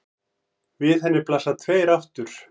Við henni blasa tveir aftur